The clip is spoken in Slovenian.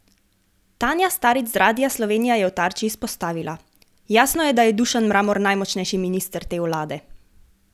Tanja Starič z Radia Slovenija je v Tarči izpostavila: 'Jasno je, da je Dušan Mramor najmočnejši minister te vlade.